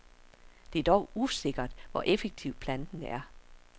Det er dog usikkert, hvor effektiv planten er.